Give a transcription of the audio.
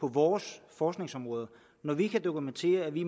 på vores forskningsområder når vi kan dokumentere i